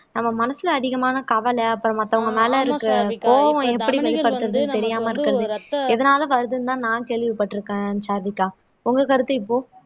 நம்ம மனசுல அதிகமான கவலை அப்புறம் மத்தவங்க மேல இருக்கிற கோவம் எப்படி வெளிப்படுத்துறதுனு தெரியாம இருக்கறது எதனால வருதுன்னுதா நான் கேள்விப்பட்டிருக்கேன் சாருவிகா உங்க கருத்து இப்போ